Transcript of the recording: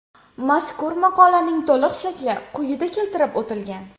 Mazkur maqolaning to‘liq shakli quyida keltirib o‘tilgan.